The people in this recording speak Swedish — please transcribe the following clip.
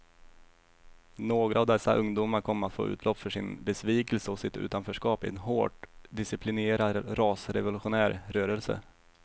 Några av dessa ungdomar kom att få utlopp för sin besvikelse och sitt utanförskap i en hårt disciplinerad rasrevolutionär rörelse.